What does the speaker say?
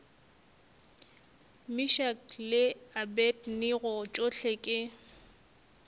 meshack le abednego tšohle ke